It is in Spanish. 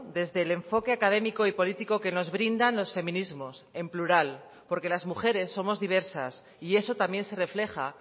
desde el enfoque académico y político que nos brindan los feminismos en plural porque las mujeres somos diversas y eso también se refleja